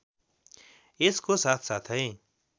यसको साथसाथै